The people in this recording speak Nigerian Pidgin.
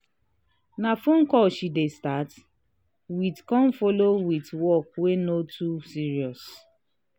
na phone call she dey start with con follow with work wey no too serious.